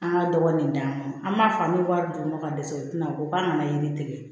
An ka dɔgɔ nin d'an ma an b'a fɔ an bɛ wari di mɔgɔw ma ka dɛsɛ u tɛna o k'an ka na yiri tigɛ